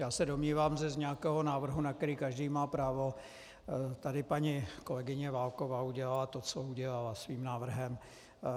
Já se domnívám, že z nějakého návrhu, na který každý má právo, tady paní kolegyně Válková udělala to, co udělala svým návrhem.